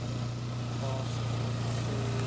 Hvað sem amma segir.